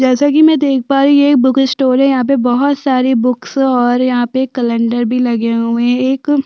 जैसा कि मैं देख पा रही ये एक बुक स्टोर यहाँ पे बहुत सारी बुक्स और यहाँ पे कलैंडर भी लगे हुए है एक --